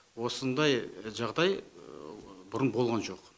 осындай жағдай бұрын болған жоқ